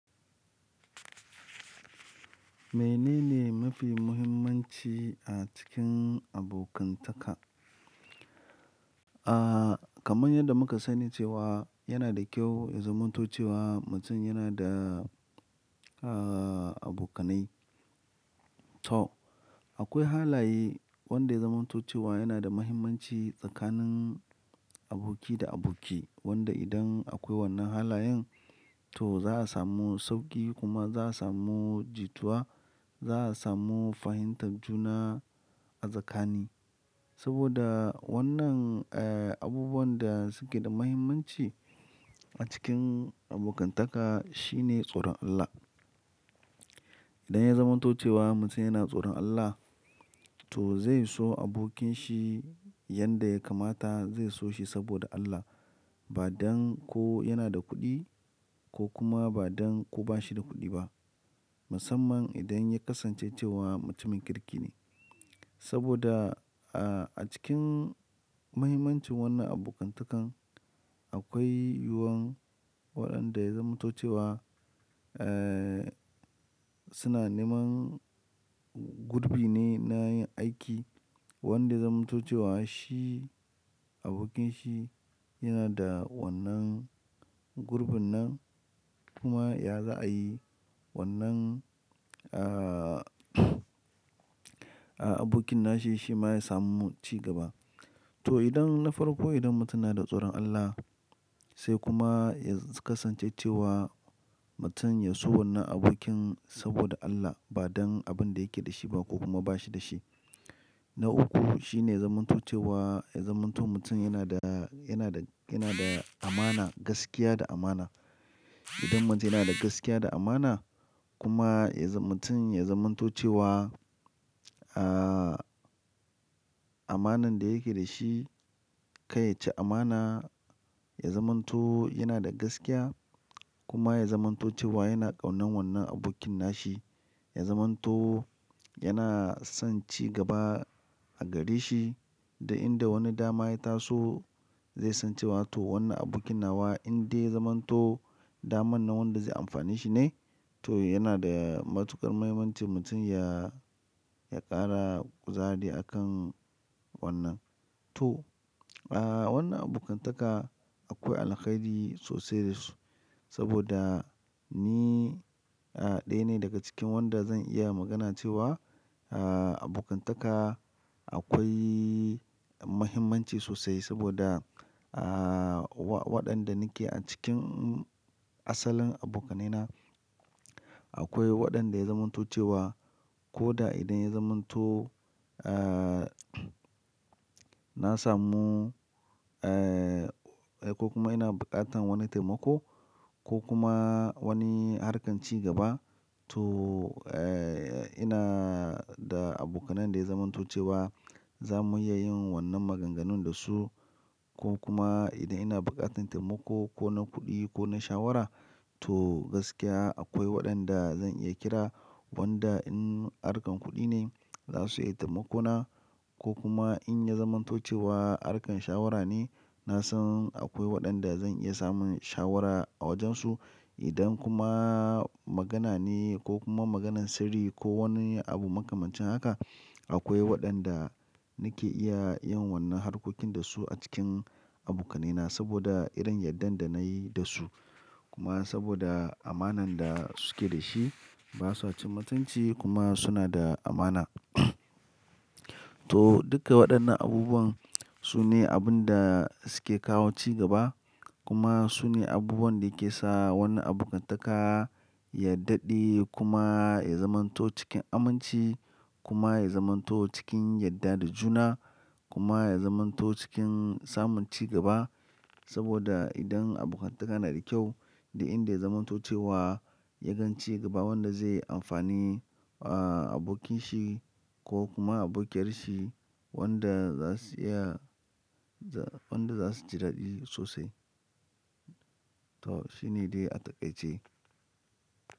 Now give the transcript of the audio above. Mene ne mafi muhimmanci a cikin abokantaka? Kaman yanda muka sani cewa yana da kyau ya zamanto cewa mutum yana da abokanai. To, akwai halaye wanda ya zamanto cewa yanada muhimmanci tsakanin aboki da aboki, wanda idan akwai wannan halayen, za'a samu sauki, kuma za'a samu jituwa kuma za'a samu fahimtar juna a tsakani saboda wannan abubuwan da suke da mahimmanci a cikim abokantaka shine tsoron Allah idan ya zamanto cewa mutum yana tsoron Allah to zai so abokinshi yanda ya kamata zai so shi saboda Allah. Ba don ko yana da kuɗi ko kuma ba don ko ba shi da kuɗi ba. Musamman idan ya kasance cewa mutumin kirki ne. Saboda a cikin muhimmancin wannan abokantakan akwai yuwuwan waɗanda ya zamanto cewa, suna neman gurɓi ne na yin aiki wanda ya zamanto cewa shi abokinshi yana da wannan gurɓin nan kuma ya za a yi wannan, abokin nashi shima ya samu cigaba to, idan na farko idan mutum yana da tsoron Allah sai kuma ya kasance cewa mutum ya so wannan abokin saboda Allah ba don abin da yake da shi ba ko kuma ba shi da shi. Na uku shine ya zamanto cewa ya zamanto mutum yana da, yana da, yana da amana, gaskiya da amana. Idan mutum yana da gaskiya da amana kuma ya za-- mutum ya zamanto cewa amanan da yake da shi, kar yaci amana, ya zamanto yana da gaskiya kuma ya zamanto cewa yana ƙaunar wannan abokin nashi, ya zamanto yana son cigaba a gare shi da inda wani dama ya taso zai san cewa to wannan abokin nawa indai ya zamanto daman nan wanda zai amfani shi ne. To yanada matukan mahimmanci mutun ya kafa kuzari akan wannan to, wannan abokantaka akwai alkhairi sosai da su saboda ni ɗaya ne daga cikin wanda zan iya magana cewa abokantaka akwai muhimmanci sosai saboda wa-waɗanda nake a cikin asalin abokanaina akwai waɗanda ya zamanto cewa ko da idan ya zamanto, aa, na samu, ko kuma ina buƙatar wani taimako ko kuma wani harkar cigaba to, eh, ina da abokanai da ya zamanto cewa za mu iya yin wannan maganganun da su ko kuma idan ina buƙatar taimako ko na kuɗi ko na shawara to gaskiya akwai waɗanda zan iya kira wanda in harkar kuɗi ne za su iya taimako na ko kuma in ya zamanto cewa harkar shawara ne na san akwai waɗanda zan iya samun shawara a wajen su. Idan kuma magana ne ko kuma maganan sirri ko wani abu makamancin haka akwai waɗanda nake iya yin wannan harkokin da su a cikin abokanaina saboda irin yardan da nayi da su. Kuma saboda amanar da suke da shi, ba sa cin mutunci kuma suna da amana. To, duka waɗannan abubuwan su ne abun da suke kawo cigaba kuma su ne abubuwan da yake sa wannan abokantaka ya daɗe kuma ya zamanto cikin aminci kuma ya zamanto cikin yarda da juna kuma ya zamanto cikin samun cigaba. Saboda idan abokantaka na da kyau, duk inda ya zamanto cewa ya gan cigaba wanda zai amfani abokinshi ko kuma abokiyar shi wanda za su iya, za-- wanda za su ji daɗi sosai. To, shi ne dai a takaice.